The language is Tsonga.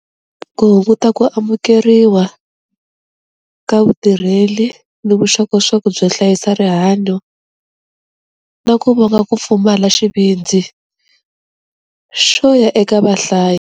Ku hunguta ku amukeriwa ka vutirheli ni vuxokoxoko byo hlayisa rihanyo na ku vonga ku pfumala xivindzi xo ya eka vahlayi.